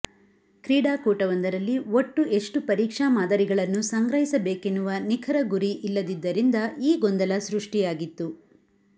ಕ್ರೀಡಾಕೂಟವೊಂದರಲ್ಲಿ ಒಟ್ಟು ಎಷ್ಟು ಪರೀಕ್ಷಾ ಮಾದರಿಗಳನ್ನು ಸಂಗ್ರಹಿಸಬೇಕೆನ್ನುವ ನಿಖರ ಗುರಿ ಇಲ್ಲದಿದ್ದರಿಂದ ಈ ಗೊಂದಲ ಸೃಷ್ಠಿಯಾಗಿತ್ತು